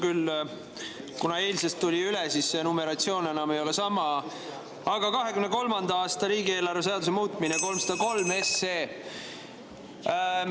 Kuna see tuli eilsest üle, siis numeratsioon ei ole enam sama, aga see on 2023. aasta riigieelarve seaduse muutmise 303.